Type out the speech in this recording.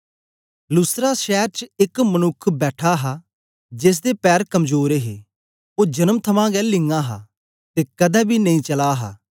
लुस्त्रा शैर च एक मनुक्ख बैठा हा जेसदे पैर कमजोर हे ओ जन्म थमां गै लिंञां हा ते कदें बी नेई चला हा